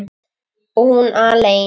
Og hún alein.